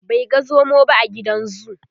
bai ga zomo ba a gidan zoo